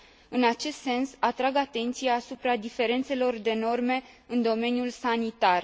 În acest sens, atrag atenția asupra diferențelor de norme în domeniul sanitar.